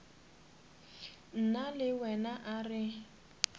nna le wena a re